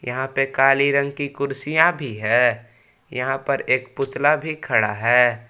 यहां पे काली रंग की कुर्सियां भी हैं यहां पर एक पुतला भी खड़ा है।